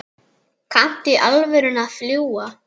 Kanntu í alvöru að fljúga?